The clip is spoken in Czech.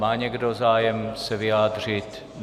Má někdo zájem se vyjádřit?